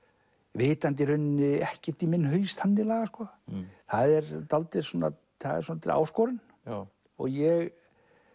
vitandi í rauninni ekkert í minn haus þannig lagað það er er áskorun ég